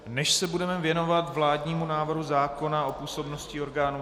Než se budeme věnovat vládnímu návrhu zákona o působnosti orgánů